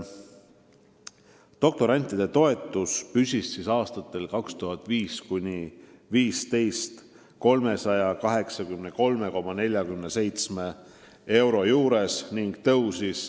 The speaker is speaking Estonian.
Doktorantide toetus oli aastatel 2005–2015 kogu aeg 383,47 eurot.